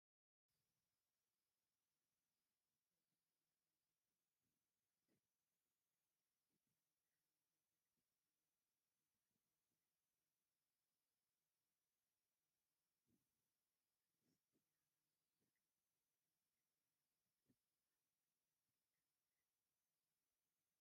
እዚ ብባህላዊ ቅዲ ክርስትና ኢትዮጵያ ዝተሃንጸ ዓቢ ቤተክርስትያን የርኢ። እቲ ቤተክርስትያን ሰፊሕ ናይ ጉባኤ ዓቕሚ ዘለዎ ኮይኑ ኣብ ላዕሊ ክርስትያናዊ መስቀል ተቐሚጡ ይረአ። እዛ ቤተ ክርስቲያን ኣበይ ከም እትርከብ ክትግምቱ ትኽእሉ ዶ?